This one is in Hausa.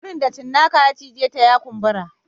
Wurin da cinnaka ya cije ta ya kumbura